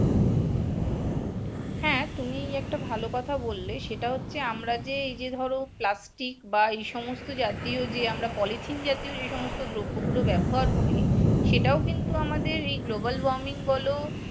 হ্যা তুমি একটা ভাল কথা বললে সেটা হচ্ছে আমরা এই যে ধরো plastic বা এই সমস্ত জাতীয় যে আমরা পলিথিন জাতীয় যে সমস্ত দ্রব্যগুলো ব্যবহার করি সেটাও কিন্তু আমাদের এই global warming বলো